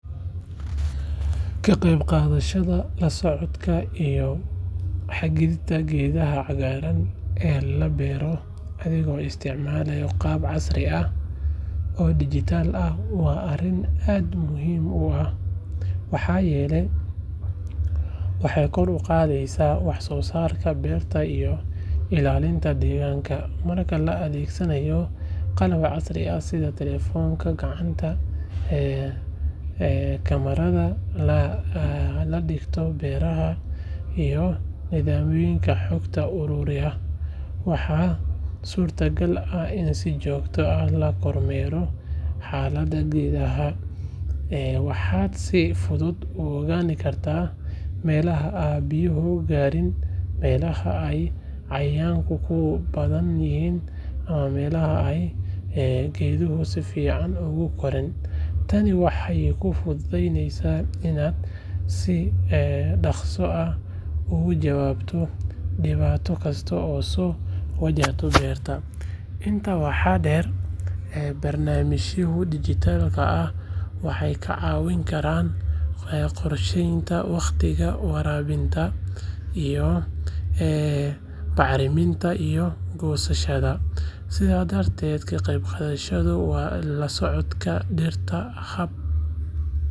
Ka qeybgalka la socodka iyo hagidda geedaha cagaaran ee la beero adigoo isticmaalaya hab casri ah oo digital ah waa arrin aad muhiim u ah maxaa yeelay waxay kor u qaadaysaa wax soo saarka beerta iyo ilaalinta deegaanka. Marka la adeegsado qalab casri ah sida telefoonka gacanta, kamaradaha la dhigto beerta iyo nidaamyada xog ururinta, waxaa suurtagal ah in si joogto ah loo kormeero xaaladda geedaha. Waxaad si fudud u ogaan kartaa meelaha aan biyo gaarin, meelaha ay cayayaanku ku badan yihiin ama meelaha ay geeduhu si fiican ugu koraan. Tani waxay kuu fududeynaysaa inaad si dhakhso ah uga jawaabto dhibaato kasta oo soo wajahda beerta. Intaa waxaa dheer, barnaamijyada digital-ka ah waxay kaa caawin karaan qorsheynta wakhtiyada waraabinta, bacriminta iyo goosashada. Sidaas darteed, ka qeyb qaadashada la socodka dhirta hab.